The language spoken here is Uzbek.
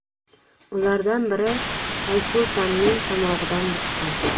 Ulardan biri Aysultanning tomog‘idan buqqan.